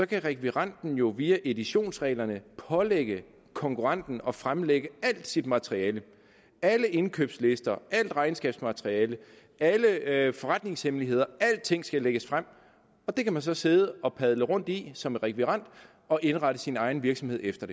kan rekvirenten jo via editionsreglerne pålægge konkurrenten at fremlægge alt sit materiale alle indkøbslister alt regnskabsmateriale alle alle forretningshemmeligheder alting skal lægges frem og det kan man så sidde og padle rundt i som rekvirent og indrette sin egen virksomhed efter